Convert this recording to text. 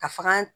Ka faga